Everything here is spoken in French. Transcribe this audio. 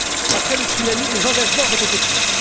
Après le tsunami, des engagements avaient été pris.